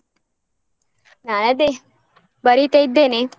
ನಾನ್ ಅದೇ ಬರೀತಾ ಇದ್ದೇನೆ.